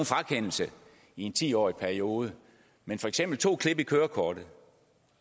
frakendelse i en ti årig periode men for eksempel betyder to klip i kørekortet